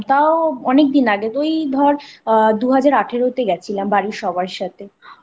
তাও অনেকদিন আগে ওই ধর দুহাজার আঠেরোতে গেছিলাম বাড়ির সবার সাথে।